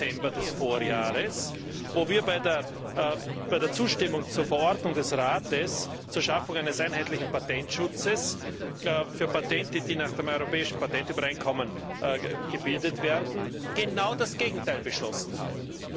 11. Dezember des Vorjahres, wo wir bei der Zustimmung zur Verordnung des Rates zur Schaffung eines einheitlichen Patentschutzes für Patente, die nach dem Europäischen Patentübereinkommen gebildet werden, genau das Gegenteil beschlossen haben.